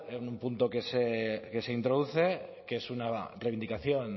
un punto que se introduce que es una reivindicación